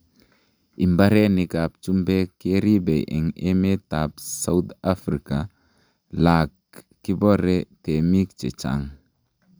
Imbarenik ab chumbek keribe en emetab South Africa lak kibore temik chechang.